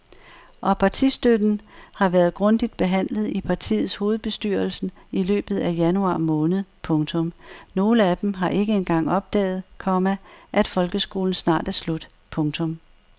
Og partistøtten har været grundigt behandlet i partiets hovedbestyrelsen i løbet af januar måned. punktum Nogle af dem har ikke engang opdaget, komma at folkeskolen snart er slut. punktum